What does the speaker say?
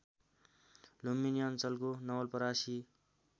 लुम्बिनी अञ्चलको नवलपरासी